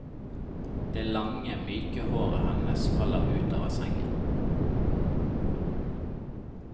Det lange, myke håret hennes faller ut over sengen.